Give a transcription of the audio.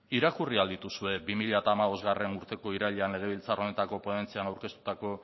irakurri ahal dituzue bi mila hamabostgarrena urteko irailean legebiltzar honetako ponentzian aurkeztutako